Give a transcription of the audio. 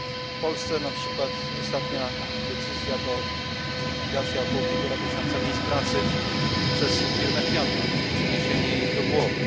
W Polsce na przykład ostatnia decyzja to likwidacja około półtora tysiąca miejsc pracy przez firmę FIAT i przeniesienie ich do Włoch.